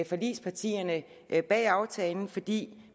forligspartierne bag aftalen fordi